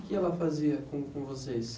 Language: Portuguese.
O que ela fazia com com vocês?